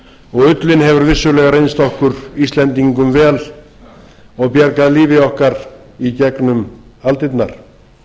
og ullin hefur vissulega reynst okkur íslendingum vel og bjargað lífi okkar í gegnum aldirnar